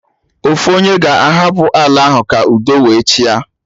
Ofu onye ga-hapụ ala ahụ ka udo wee chịa